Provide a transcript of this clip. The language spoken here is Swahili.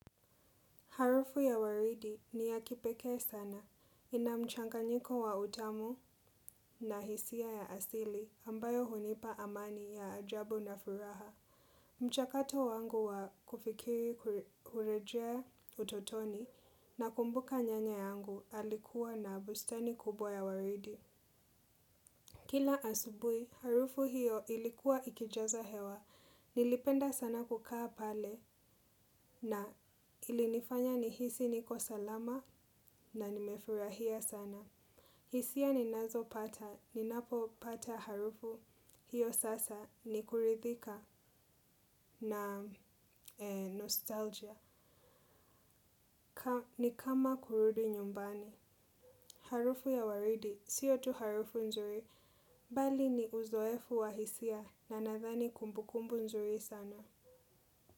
Harufu ya waridi ni ya kipekee sana. Ina mchanganyiko wa utamu na hisia ya asili ambayo hunipa amani ya ajabu na furaha. Mchakato wangu wa kufikiri kurejea utotoni nakumbuka nyanya yangu alikuwa na bustani kubwa ya waridi. Kila asubuhi, harufu hiyo ilikuwa ikijaza hewa. Nilipenda sana kukaa pale na ilinifanya nihisi niko salama na nimefurahia sana. Hisia ninazopata, ninapopata harufu hiyo sasa ni kuridhika na nostalgia. Ni kama kurudi nyumbani. Harufu ya waridi, siyo tu harufu nzuri. Bali ni uzoefu wa hisia na nadhani kumbukumbu nzuri sana.